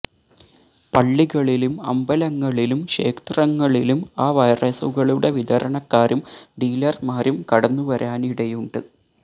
പള്ളികളിലും അമ്പലങ്ങളിലും ക്ഷേത്രങ്ങളിലും ആ വൈറസുകളുടെ വിതരണക്കാരും ഡീലർമാരും കടന്നു വരാനിടയുണ്ട്